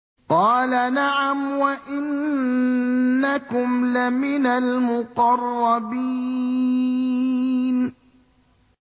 قَالَ نَعَمْ وَإِنَّكُمْ لَمِنَ الْمُقَرَّبِينَ